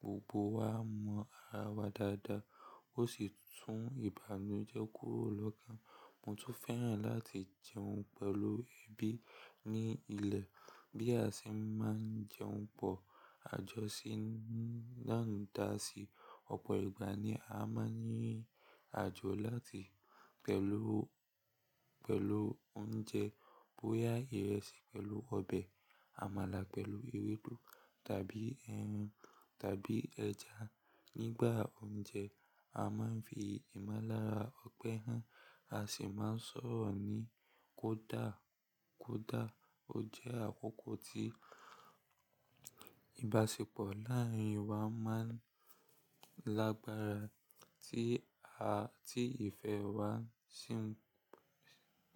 gbogbo wa mọ ara wa dáadáa, ó sì tún ìbànújẹ́ kúrò lọ́kàn. Mo tún fẹ́ràn láti jẹun pẹ̀lú ẹbí ní ilẹ̀. Bí a ṣe máa ń jẹun pọ̀, àjọṣe ńlá dá sí ọ̀pọ̀ ìgbà ni a máa ní ìrìnàjò láti pẹ̀lú, pẹ̀lú oúnjẹ boyà ìrẹsì pẹ̀lú ọbẹ̀, àmàlà pẹ̀lú ewédú tàbí ẹran tàbí ẹja. Nígbà oúnjẹ, a máa ń fi ìmọ̀lára ọgbẹ́ hàn, a sì máa ń sọ̀rọ̀ ní kó dà, kó dà. Ó jẹ́ àkókò tí ìbáṣepọ̀ láàárín wa máa ń lágbára tí a, tí ìfẹ́ wa sì ń